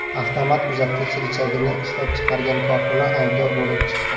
Avtomat uzatgich richagini ishlab chiqargan korxona aybdor bo‘lib chiqdi.